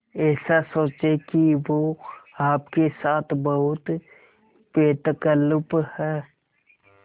ऐसा सोचें कि वो आपके साथ बहुत बेतकल्लुफ़ है